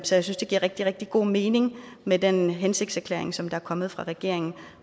synes det giver rigtig rigtig god mening med den hensigtserklæring som der er kommet fra regeringen